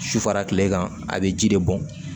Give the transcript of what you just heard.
Su fara kile kan a bɛ ji de bɔn